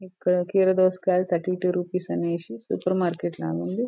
ఇక్కడ కీర దోసకాయ థర్టీ టు రూపీస్ అనేసి సూపర్ మార్కెట్ లాగుంది --